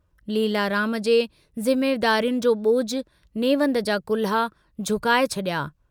लीलाराम जे जिम्मेदारियुनि जो बोझ नेवंद जा कुल्हा झुकाए छड़िया।